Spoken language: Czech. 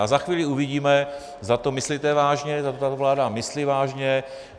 A za chvíli uvidíme, zda to myslíte vážně, zda to tato vláda myslí vážně.